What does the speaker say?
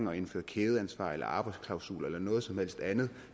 at indføre kædeansvar eller arbejdsklausuler eller noget som helst andet